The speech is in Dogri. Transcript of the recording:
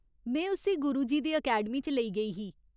में उस्सी गुरुजी दी अकैडमी च लेई गेई ही।